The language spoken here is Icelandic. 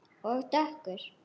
Og dökkur.